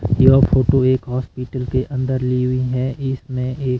यह photo hospital के अंदर लिए हुई है इसमें एक--